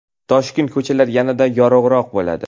Toshkent ko‘chalari yanada yorug‘roq bo‘ladi.